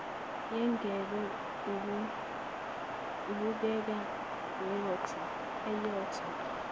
yengebhe ubukeka ewotha